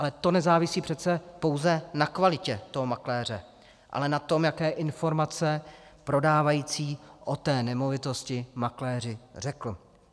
Ale to nezávisí přece pouze na kvalitě toho makléře, ale na tom, jaké informace prodávající o té nemovitosti makléři řekl.